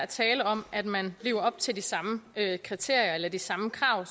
tale om at man lever op til de samme kriterier eller de samme krav